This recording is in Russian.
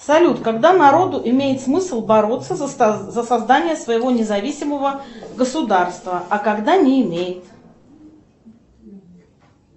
салют когда народу имеет смысл бороться за создание своего независимого государства а когда не имеет